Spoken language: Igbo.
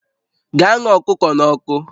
Gaa ṅaa ọkụkọ n'ọkụ!